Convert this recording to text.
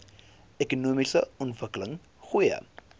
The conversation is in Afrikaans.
ekonomiese ontwikkeling goeie